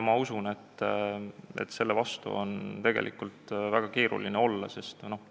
Ma usun, et selle vastu on tegelikult väga keeruline olla.